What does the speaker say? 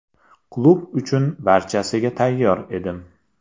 Klub uchun barchasiga tayyor edim.